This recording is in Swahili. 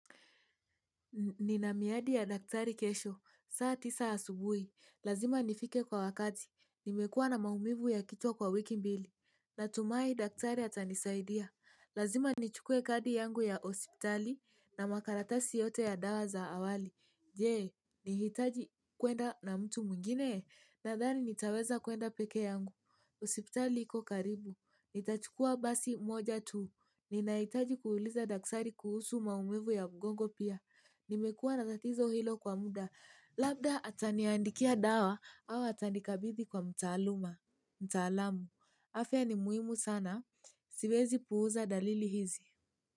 Nina miadi ya daktari kesho, saa tisa asubuhi, lazima nifike kwa wakati, nimekuwa na maumivu ya kichwa kwa wiki mbili, natumai daktari atanisaidia, lazima nichukue kadi yangu ya hospitali na makaratasi yote ya dawa za awali. Jee, nihitaji kwenda na mtu mwingine. Nadhani nitaweza kwenda pekee yangu. Hospitali iko karibu. Nitachukua basi moja tu. Ninahitaji kuuliza daktari kuhusu maumivu ya mgongo pia. Nimekuwa na tatizo hilo kwa muda. Labda ataniandikia dawa au atanikabithi kwa mtaaluma. Mtaalamu. Afia ni muhimu sana. Siwezi puuza dalili hizi.